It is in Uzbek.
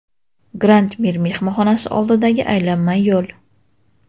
Grand Mir mehmonxonasi oldidagi aylanma yo‘l.